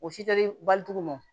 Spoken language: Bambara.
O si tɛ bali tugun